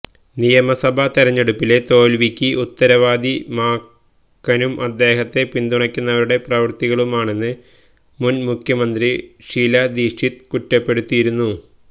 നിയമസഭാ തെരഞ്ഞെടുപ്പിലെ തോൽവിക്ക് ഉത്തരവാദി മാക്കനും അദ്ദേഹത്തെ പിന്തുണക്കുന്നവരുടെ പ്രവൃത്തികളുമാണെന്ന് മുൻ മുഖ്യമന്ത്രി ഷീലാ ദീക്ഷിത് കുറ്റപ്പെടത്തിയിരുന്നു